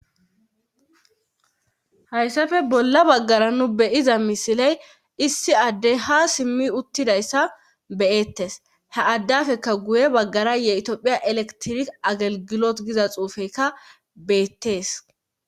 hayssafe bolla baggara nu beyiza misiley issi addey ha simmi uttidayssa beyettes he addafekka guye baggara tophiya elektirik agelgilot giza xuufeykka beettes